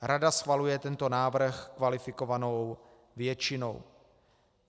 Rada schvaluje tento návrh kvalifikovanou většinou.